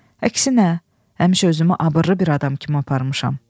Əksinə, həmişə özümü abırlı bir adam kimi aparmışam.